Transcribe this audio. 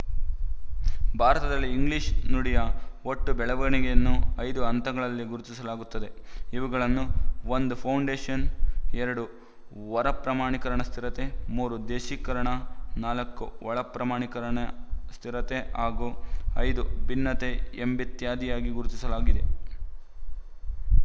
ಭಾರತದಲ್ಲಿ ಇಂಗ್ಲಿಶು ನುಡಿಯ ಒಟ್ಟು ಬೆಳವಣಿಗೆಯನ್ನು ಐದು ಹಂತಗಳಲ್ಲಿ ಗುರುತಿಸಲಾಗುತ್ತದೆ ಇವುಗಳನ್ನು ಒಂದು ಫೌಂಡೇಶನ್ ಎರಡು ಹೊರ ಪ್ರಮಾಣೀಕರಣ ಸ್ಥಿರತೆ ಮೂರು ದೇಶೀಕರಣ ನಾಲ್ಕು ಒಳ ಪ್ರಮಾಣೀಕರಣ ಸ್ಥಿರತೆ ಹಾಗೂ ಐದು ಭಿನ್ನತೆ ಎಂಬಿತ್ಯಾದಿಯಾಗಿ ಗುರುತಿಸಲಾಗಿದೆ